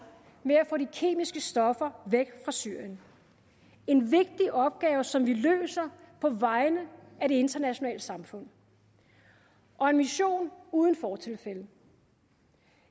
med at få de kemiske stoffer væk fra syrien en vigtig opgave som vi løser på vegne af det internationale samfund og en mission uden fortilfælde